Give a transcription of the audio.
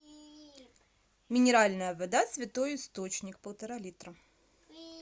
минеральная вода святой источник полтора литра